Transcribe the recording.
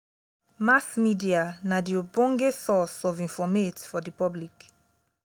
mass media na the ogbenge source of informate for the public